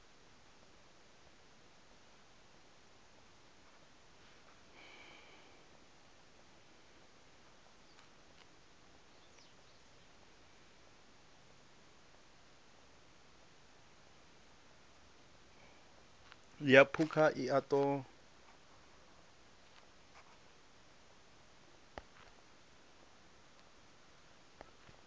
ya phukha i a ṱo